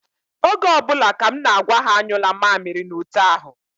Oge ọ bụla ka m na-agwa ha anyụla mamịrị n'ute ahụ.